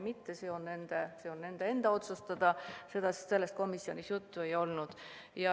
See on nende otsustada, sellest komisjonis juttu ei olnud.